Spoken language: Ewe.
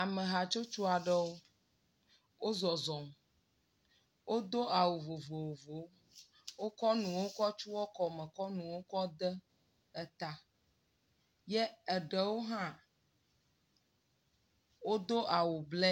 Amehatsotso aɖewo. Wo zɔzɔm. Wodo awu vovovowo. Wokɔ nuwo kɔ tsyɔ kɔme kɔ nuwo kɔ de eta. Ye eɖewo hã wodo awu blɛ.